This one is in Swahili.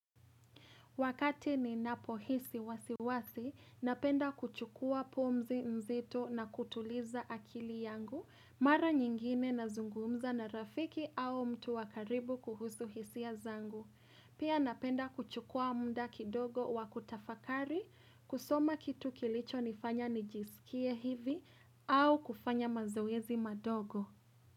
Wakati ni napohisi wasiwasi, napenda kuchukua pumzi mzito na kutuliza akili yangu, mara nyingine na zungumza na rafiki au mtu wa karibu kuhusu hisia zangu. Pia napenda kuchukua muda kidogo wa kutafakari, kusoma kitu kilicho nifanya nijisikie hivi au kufanya mazoezi madogo.